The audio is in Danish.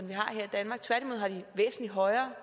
her i danmark tværtimod har de væsentlig højere